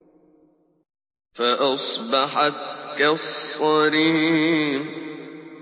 فَأَصْبَحَتْ كَالصَّرِيمِ